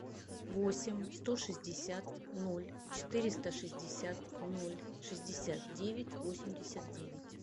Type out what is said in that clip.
восемь сто шестьдесят ноль четыреста шестьдесят ноль шестьдесят девять восемьдесят девять